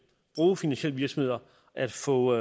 bruge finansielle virksomheder at få